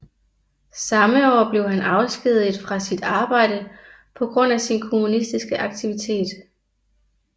Samme år blev han afskediget fra sit arbejde på grund af sin kommunistiske aktivitet